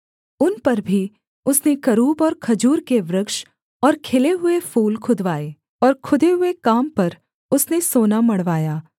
उन पर भी उसने करूब और खजूर के वृक्ष और खिले हुए फूल खुदवाए और खुदे हुए काम पर उसने सोना मढ़वाया